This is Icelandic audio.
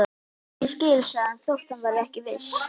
Ég skil sagði hann þótt hann væri ekki viss.